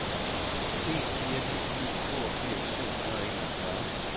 en fire ni syv toogfirs syv hundrede og enogfyrre